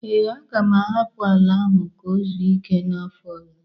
Ee, aga m ahapụ ala ahụ ka o zuo ike n'afọ ọzọ